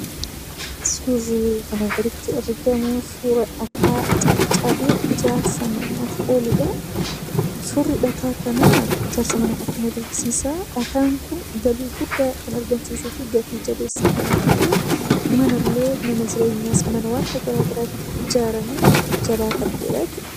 Suurri asii gaditti argamu suuraa dhagaa cabee ijaarsaaf ooludha. Suurri dhagaa kanaa ijaarsa mana kanaa ijaaruuf gatii guddaa kan argamsiisu. Manni dhagaa kanaan ijaaramu jabaa kan ta'eedha.